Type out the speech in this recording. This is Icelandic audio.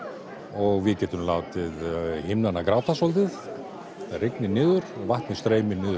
og við getum látið himnana gráta svolítið það rignir niður og vatnið streymir niður